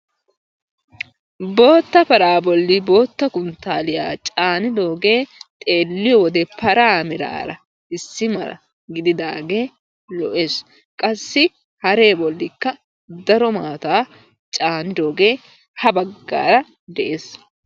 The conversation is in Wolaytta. Bootta paraa bolli bootta kunttaalliya caanidoogee xeelliyo wode paraa meraara issi mala gididaagee lo"es. Qassi haree bollikka daro maataa caanidoogee ha baggaara de"es.